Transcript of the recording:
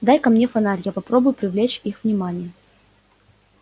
дай-ка мне фонарь я попробую привлечь их внимание